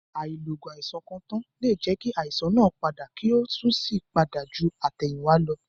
Àìlo ògùn àìsàn kan tàn lẹ jẹ́ kí àìsàn náà padà kí ó sì tún pada ju àtẹ̀yìnwá lọ.